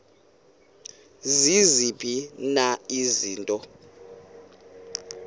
ziziphi na izinto